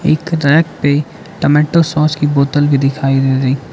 एक रैक पे tomato sauce की बोतल भी दिखाई दे रही --